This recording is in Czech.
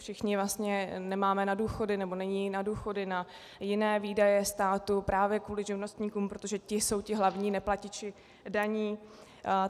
Všichni vlastně nemáme na důchody, nebo není na důchody, na jiné výdaje státu právě kvůli živnostníkům, protože ti jsou ti hlavní neplatiči daní.